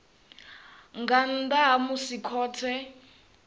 nga nnḓa ha musi khothe